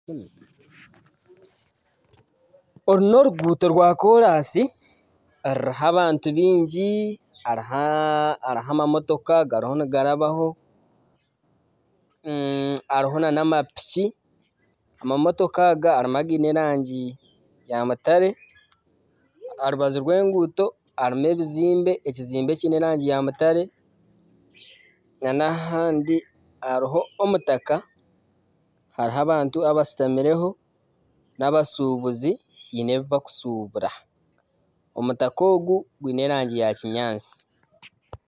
Oru n'oruguuto rwakoransi ruriho abantu baingi hariho amamotoka gariho nigarabaho hariho nana amapiki, amamotoka aga hariho againe erangi ya mutare aha rubaju rw'enguuto harimu ebizimbe ekizimbe ekiine erangi ya mutare nana agandi hariho omutaka hariho abantu abashutamireho nana abashubuzi haine ebi barikushubura omutaka ogu gwine erangi ya kinyaatsi.